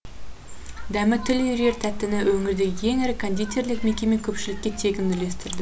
дәмі тіл үйірер тәттіні өңірдегі ең ірі кондитерлік мекеме көпшілікке тегін үлестірді